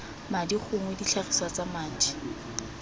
madi gongwe ditlhagiswa tsa madi